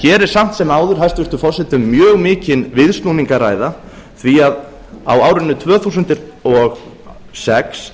hér er samt sem áður hæstvirtur forseti um mjög mikinn viðsnúning að ræða því að á árinu tvö þúsund og sex